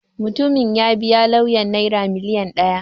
Mutumin ya biya lauyan Naira miliyan ɗaya.